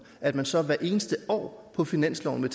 at man så hvert eneste år på finansloven vil